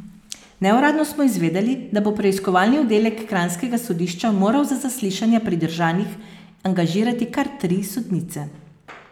Neuradno smo izvedeli, da bo preiskovalni oddelek kranjskega sodišča moral za zaslišanja pridržanih angažirati kar tri sodnice.